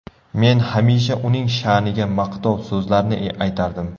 Men hamisha uning sha’niga maqtov so‘zlarni aytardim.